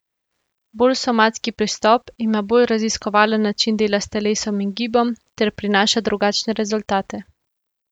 Bolj somatski pristop ima bolj raziskovalen način dela s telesom in gibom ter prinaša drugačne rezultate.